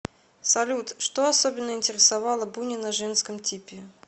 салют что особенно интересовало бунина женском типе